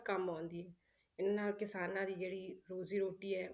ਕੰਮ ਆਉਂਦੀ ਹੈ, ਇਹਨਾਂ ਕਿਸਾਨਾਂ ਦੀ ਜਿਹੜੀ ਰੋਜ਼ੀ ਰੋਟੀ ਹੈ,